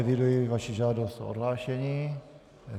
Eviduji vaši žádost o odhlášení.